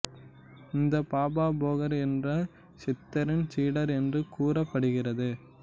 இந்த பாபா போகர் என்ற சித்தரின் சீடர் என்று கூறப்படுகிறது